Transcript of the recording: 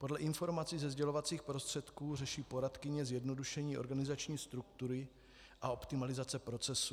Podle informací ze sdělovacích prostředků řeší poradkyně zjednodušení organizační struktury a optimalizace procesů.